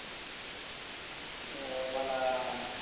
अं मला.